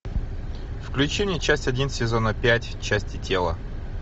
включи мне часть один сезона пять части тела